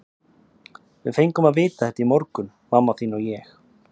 Við fengum að vita þetta í morgun, mamma þín og ég.